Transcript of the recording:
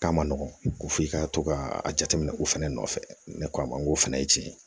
K'a ma nɔgɔn ko f'i ka to ka a jateminɛ u fɛnɛ nɔfɛ ne ko a ma n k'o fana ye tiɲɛ ye